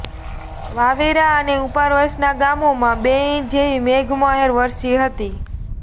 વાવેરા અને ઉપરવાસના ગામોમાં બે ઈંચ જેવી મેઘમહેર વરસી હતી